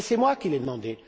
C'est moi qui l'ai demandé.